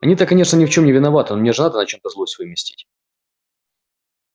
они-то конечно ни в чем не виноваты но мне же надо на чем-то злость выместить